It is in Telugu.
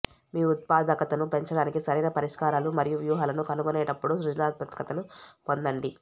మీ ఉత్పాదకతను పెంచడానికి సరైన పరిష్కారాలు మరియు వ్యూహాలను కనుగొనేటప్పుడు సృజనాత్మకతను పొందండి